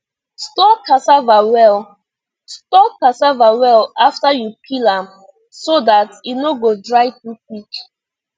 store cassava well store cassava well after you peel am so dat e no go dry too quick